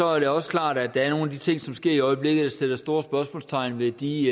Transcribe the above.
er det også klart at der er nogle af de ting som sker i øjeblikket der sætter store spørgsmålstegn ved de